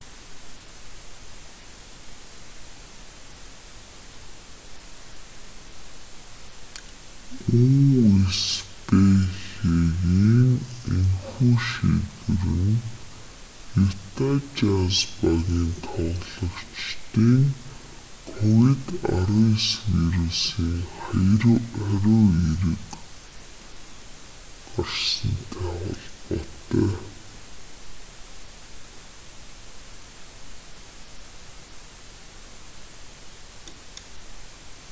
үсбх-гийн энэхүү шийдвэр нь юта жазз багийн тоглогчийн ковид-19 вирусын хариу эерэг гарсантай холбоотой